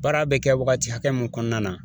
Baara bɛ kɛ wagati hakɛ min kɔnɔna na